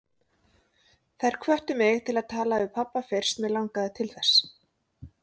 Þær hvöttu mig til að tala við pabba fyrst mig langaði til þess.